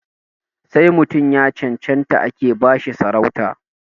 Sai mutum ya cancanta ake ba shi sarauta